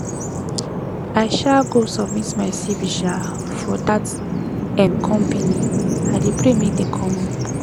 i um go submit my cv um for dat um company i dey pray make dem call me